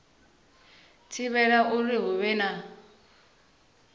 thivhela uri hu vhe na